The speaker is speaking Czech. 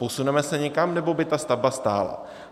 Posuneme se někam, nebo by ta stavba stála?